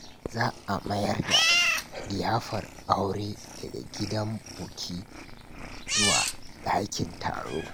Za a mayar da liyafar aure daga gidan buki zuwa dakin taro.